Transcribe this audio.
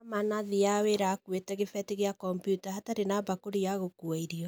Aman athĩaga wĩra akuĩte kĩbeti kĩa komputa hatarĩ na bakũri ya gũkua irio.